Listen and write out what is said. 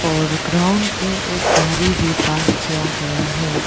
और ग्राउंड पे गाड़ी भी पार्क किया गया है।